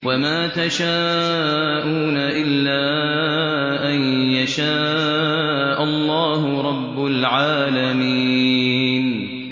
وَمَا تَشَاءُونَ إِلَّا أَن يَشَاءَ اللَّهُ رَبُّ الْعَالَمِينَ